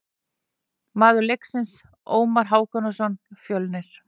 Maður leiksins: Ómar Hákonarson, Fjölnir.